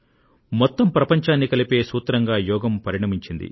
మొత్తం ప్రపంచాన్ని కలిపే సూత్రంగా యోగం పరిణమించింది